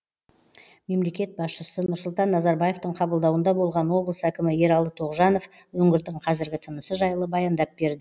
мемлекет басшысы нұрсұлтан назарбаевтың қабылдауында болған облыс әкімі ералы тоғжанов өңірдің қазіргі тынысы жайлы баяндап берді